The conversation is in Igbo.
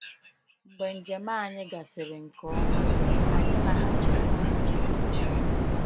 Mgbe njem anyị gasịrị nke ọma, anyị laghachiri Nigeria.